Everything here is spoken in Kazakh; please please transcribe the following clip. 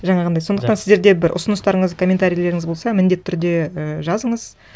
жаңағындай сондықтан сіздерде бір ұсыныстарыңыз комментарийлеріңіз болса міндетті түрде і жазыңыз